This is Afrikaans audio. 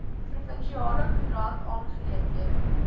provinsiale koerant aangeleenthede